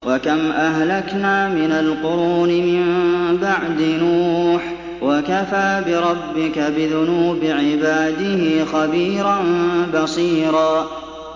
وَكَمْ أَهْلَكْنَا مِنَ الْقُرُونِ مِن بَعْدِ نُوحٍ ۗ وَكَفَىٰ بِرَبِّكَ بِذُنُوبِ عِبَادِهِ خَبِيرًا بَصِيرًا